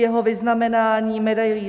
Jeho vyznamenání medailí